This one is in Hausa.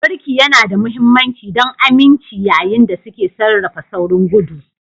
Birki yana da mahimmanci don aminci yayin da suke sarrafa saurin gudu.